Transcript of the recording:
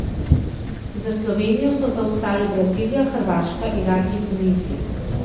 Za Slovenijo so zaostale Brazilija, Hrvaška, Iran in Tunizija.